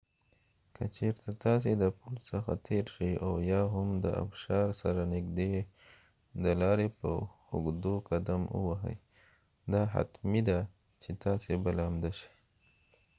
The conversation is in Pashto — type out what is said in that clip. که چېرته تاسی د پل څخه تیر شي او یا هم د ابشار سره نږدې د لارې په اوږدو قدم ووهۍ دا حتمی ده چې تاسی به لامده شۍ